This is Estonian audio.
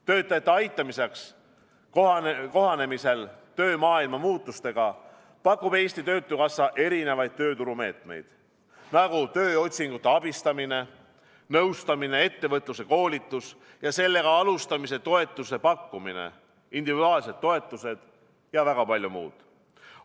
Töötajate aitamiseks ja töömaailma muutustega kohanemiseks pakub Eesti Töötukassa erinevaid tööturumeetmeid nagu tööotsingute abistamine, nõustamine, ettevõtluskoolitus ja ettevõtlusega alustamise toetuse pakkumine, individuaalsed toetused ja väga palju muud.